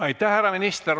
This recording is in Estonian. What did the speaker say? Aitäh, härra minister!